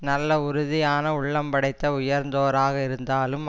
நல்ல உறுதியான உள்ளம் படைத்த உயர்ந்தோராக இருந்தாலும்